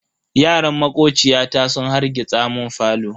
Yaran makociyata sun harrgitsa mun falo.